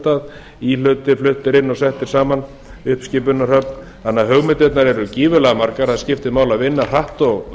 stað íhlutir fluttir inn og settir saman uppskipunarhöfn þannig að hugmyndirnar eru gífurlega margar það skiptir máli að vinna hratt og